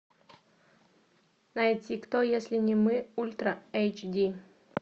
найти кто если не мы ультра эйч ди